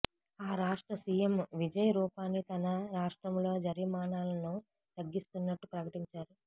ఆ రాష్ట్ర సీఎం విజయ్ రూపానీ తమ రాష్ట్రంలో జరిమానాలను తగ్గిస్తున్నట్లు ప్రకటించారు